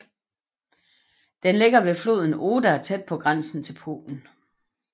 Den ligger ved floden Oder tæt på grænsen til Polen